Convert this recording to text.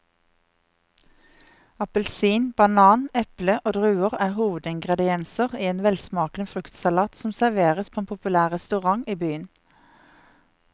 Appelsin, banan, eple og druer er hovedingredienser i en velsmakende fruktsalat som serveres på en populær restaurant i byen.